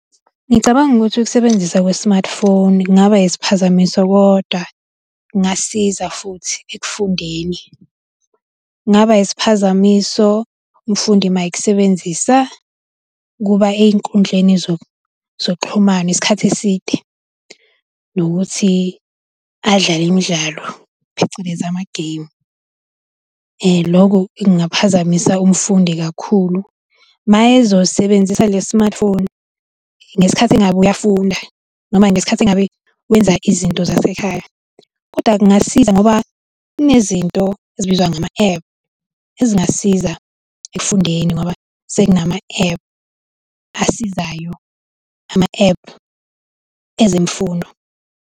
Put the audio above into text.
Ngicabanga ukuthi ukubenziswa kwe-smartphone kungaba isiphazamiso kodwa kungasiza futhi ekufundeni. Kungaba isiphazamiso umfundi uma ekusebenzisa ukuba ey'nkundleni zokuxhumana isikhathi eside nokuthi adlale imidlalo, phecelezi, amageyimu. Lokho kungaphazamisa umfundi kakhulu mayezosebenzisa lesi smartphone, ngesikhathi engabe uyafunda noma ngesikhathi engabe wenza izinto zasekhaya. Kodwa kungasiza ngoba kunezinto ezibizwa ngama-ephu ezingasiza ekufundeni ngoba sekunama-ephu asizayo, ama-ephu ezemfundo.